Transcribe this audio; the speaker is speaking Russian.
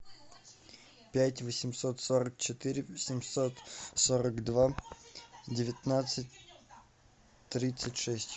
пять восемьсот сорок четыре семьсот сорок два девятнадцать тридцать шесть